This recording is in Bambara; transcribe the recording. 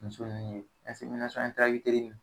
Muso nunnu ye